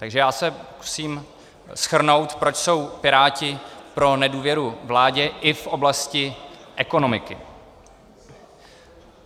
Takže já se pokusím shrnout, proč jsou Piráti pro nedůvěru vládě i v oblasti ekonomiky.